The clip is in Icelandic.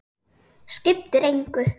Skiptir engu!